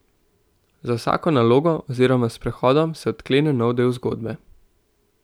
Z vsako nalogo oziroma sprehodom se odklene nov del zgodbe.